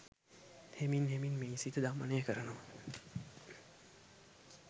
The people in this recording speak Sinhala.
හෙමින් හෙමින් මේ සිත දමනය කරනවා.